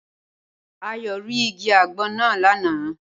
Ayọ̀ rí igi àgbon náà lánàá